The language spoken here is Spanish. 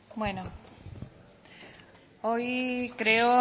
bueno hoy creo